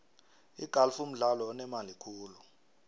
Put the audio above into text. igalfu mdlalo onemali khulu